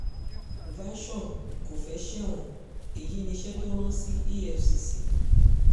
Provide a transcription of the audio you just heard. version kò fẹ́ẹ́ sẹ́wọ̀n èyí níṣẹ́ tó rán sí efcc